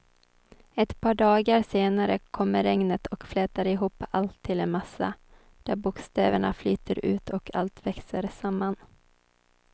Ett par dagar senare kommer regnet och flätar ihop allt till en massa där bokstäverna flyter ut och allt växer samman.